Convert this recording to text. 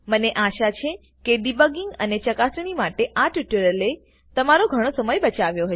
મને આશા છે કે ડિબગિંગ અને ચકાસણી માટે આ ટ્યુટોરીયલએ તમારો ઘણો સમય બચાવ્યો હશે